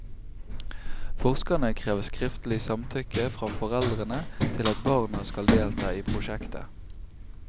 Forskerne krever skriftlig samtykke fra foreldrene til at barna skal delta i prosjektet.